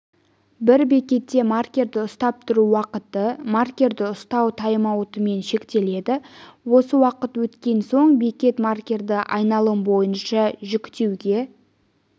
бір бекетте маркерді ұстап тұру уақыты маркерді ұстау таймаутымен шектеледі осы уақыт өткен соң бекет маркерді айналым бойынша жеткізуге